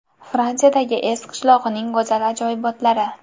Fransiyadagi Ez qishlog‘ining go‘zal ajoyibotlari .